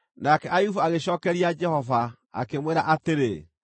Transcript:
Nake Ayubu agĩcookeria Jehova, akĩmwĩra atĩrĩ: